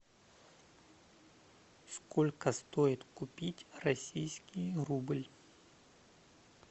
сколько стоит купить российский рубль